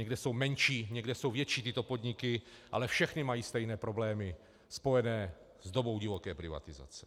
Někde jsou menší, někde jsou větší tyto podniky, ale všechny mají stejné problémy spojené s dobou divoké privatizace.